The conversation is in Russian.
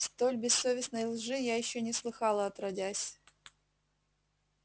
столь бессовестной лжи я ещё не слыхала отродясь